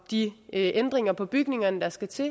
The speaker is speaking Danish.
de ændringer på bygningerne der skal til